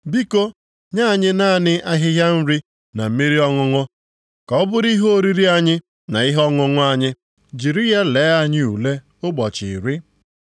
“Biko, nye anyị naanị ahịhịa nri, na mmiri ọṅụṅụ, ka ọ bụrụ ihe oriri anyị na ihe ọṅụṅụ anyị. Jiri ya lee anyị ule ụbọchị iri.